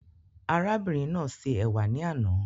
Arábìnrin náà ṣe ẹ̀wà ní àna